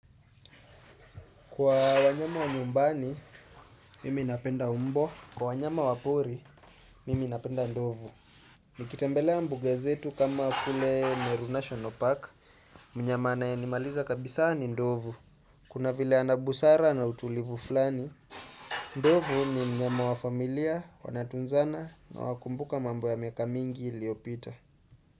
Kwa wanyama wa nyumbani, mimi napenda mbwa. Kwa wanyama wa pori, mimi napenda ndovu. Nikitembelea mbuga zetu kama kule Meru National Park. Mnyama anayenimaliza kabisaa ni ndovu. Kuna vile ana busara na utulivu fulani. Ndovu ni mnyama wa familia, wanatunzana na wakumbuka mambo ya miaka mingi iliyopita.